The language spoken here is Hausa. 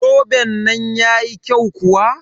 Zoben nan yayi kyau kuwa?